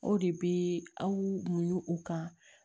O de bɛ aw munɲu u kan